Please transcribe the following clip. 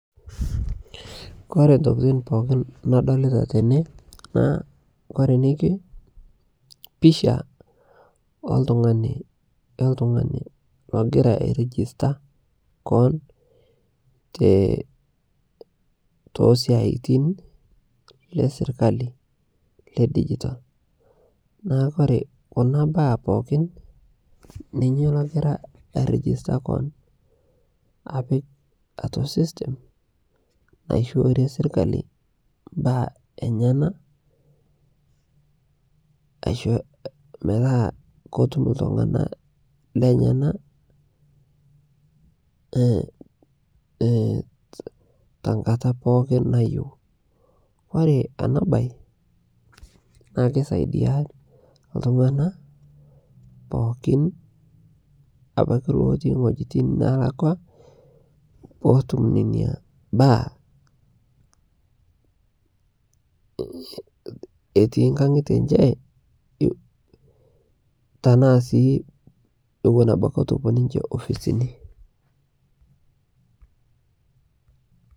kore ntokitin pookin nadolita tene naa kore nekwe naa picha eltungani logira airijista koon tosiatin lesirkali le digital naa kore kuna baa pookin ninye logira airijista koon apik atua system naishoorie sirkali mbaa enyana metaa kotum ltungana lenyana tankata pookin nayeu kore ana bai naa keisaidia ltungana pookin abaki lotii nghojitin pookin nalakwaa peetum nenia baa etii nkangite enshe tanaa sii ewon abaki etuu epuo ninshe ofisini